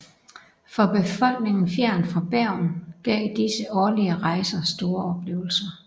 For befolkningen fjernt fra Bergen gav disse årlige rejser store oplevelser